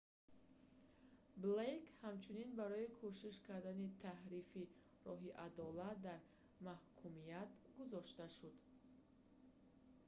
блейк ҳамчунин барои кӯшиш кардани таҳрифи роҳи адолат дар маҳкумият гузошта шуд